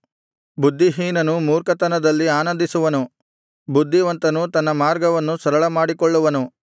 ಬುದ್ಧಿಹೀನನು ಮೂರ್ಖತನದಲ್ಲಿ ಆನಂದಿಸುವನು ಬುದ್ಧಿವಂತನು ತನ್ನ ಮಾರ್ಗವನ್ನು ಸರಳಮಾಡಿಕೊಳ್ಳುವನು